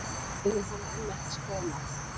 Liðin hafa enn ekki skorað mark